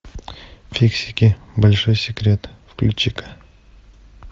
фиксики большой секрет включи ка